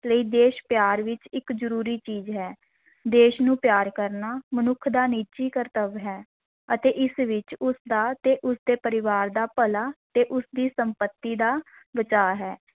ਲਈ ਦੇਸ਼-ਪਿਆਰ ਵਿੱਚ ਇਕ ਜ਼ਰੂਰੀ ਚੀਜ਼ ਹੈ, ਦੇਸ਼ ਨੂੰ ਪਿਆਰ ਕਰਨਾ ਮਨੁੱਖ ਦਾ ਨਿੱਜੀ ਕਰਤੱਵ ਹੈ ਅਤੇ ਇਸ ਵਿੱਚ ਉਸ ਦਾ ਤੇ ਉਸ ਦੇ ਪਰਿਵਾਰ ਦਾ ਭਲਾ ਤੇ ਉਸ ਦੀ ਸੰਪਤੀ ਦਾ ਬਚਾ ਹੈ।